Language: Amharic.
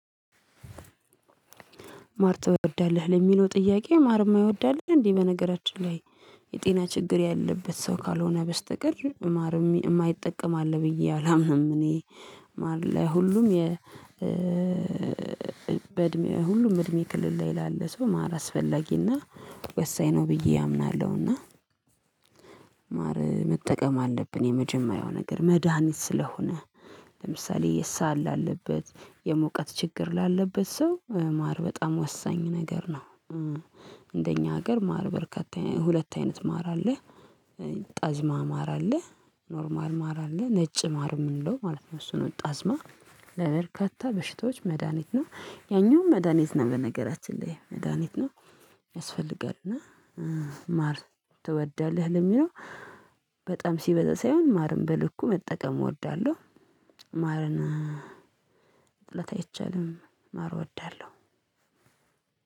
ማር ትወዳለህ ለሚለው ጥያቄ ማር የማይወድ አለ እንዴ በነገራችን ላይ የጤና ችግር ያለበት ሰው ካልሆነ በስተቀር ማር የማይጠቀም አለ ብዬ አላምንም። እኔ ማር ለሁሉም የ በእድሜ ሁሉም እድሜ ክልል ላይ ላለ ሰው ማር አስፈላጊና ወሳኝ ነው። ብዬ አምናለሁና። ማር መጠቀም አለብን የመጀመሪያው ነገር መድሃኒት ስለሆነ። ለምሳሌ የሳል ላለበት የሙቀት ችግር ላለበት ሰው ማር በጣም ወሳኝ ነገር ነው። እንደኛ ሀገር ማር በርካታ ሁለት አይነት ማር ጠዝማ ማር አለ። ኖርማል ማር አለ ነጭ ማር የምንለው ማለት ነው። እሱን ነው ጠዝማ ለበርካታ በሽታዎች መድሃኒት ነው ያኛውም መድሃኒት ነው በነገራችን ላይ መድሃኒት ነው። ያስፈልጋል እና። ማር ትወዳለህ ለሚለው በጣም ሲበዛ ሳይሆን ማርም በልኩ መጠቀም እወዳለሁ። ማርን መጥላት አይቻልም። ማር እወዳለሁ።